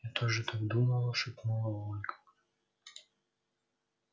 я тоже так думала шепнула ольга